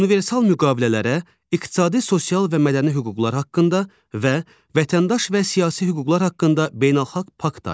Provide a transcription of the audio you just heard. Universal müqavilələrə iqtisadi, sosial və mədəni hüquqlar haqqında və vətəndaş və siyasi hüquqlar haqqında beynəlxalq pakt aiddir.